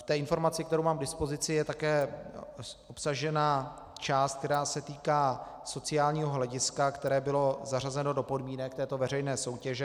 V té informaci, kterou mám k dispozici, je také obsažena část, která se týká sociálního hlediska, které bylo zařazeno do podmínek této veřejné soutěže.